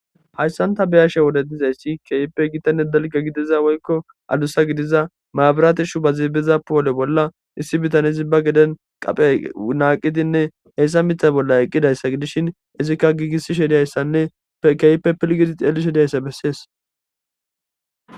hayssanta beyashe wode dizayssi keyippe gitanne dalga gidiza woykko adusa gidiza maabaraate shu ba ziibeza poole bolla issi bitan izi ba geden qaphe naaqidinne heyssa mitha bolla eqqidayssa gidishin izikka giigissi shediyayssanne keyippe pilgidi ceeli shediyayssa bessees